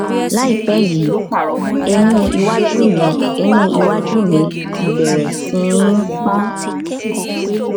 láìpẹ yìí eyín iwájú mi eyín iwájú mi ti bẹrẹ sí i pon